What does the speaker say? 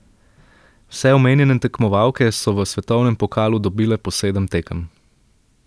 Vse omenjene tekmovalke so v svetovnem pokalu dobile po sedem tekem.